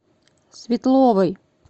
светловой